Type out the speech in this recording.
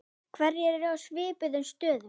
Hverjir eru í svipuðum stöðum?